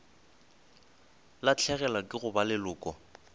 lahlegelwa ke go ba leloko